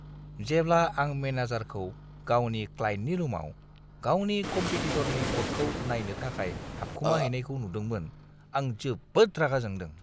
जेब्ला आं मेनेजारखौ गावनि क्लाइन्टनि रुमाव गावनि कमपेटिटरनि क'टखौ नायनो थाखाय हाबखुमाहैनायखौ नुदोंमोन आं जोबोद रागा जोंदों।